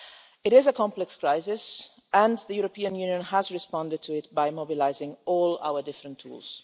It is a complex crisis and the European Union has responded to it by mobilising all our different tools.